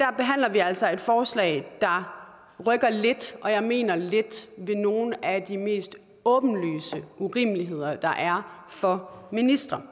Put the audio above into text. vi altså et forslag der rykker lidt og jeg mener lidt ved nogle af de mest åbenlyse urimeligheder der er for ministre